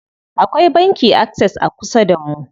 Akwai banki Access a kusa damu.